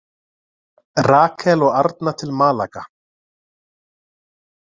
Rakel og Arna til Málaga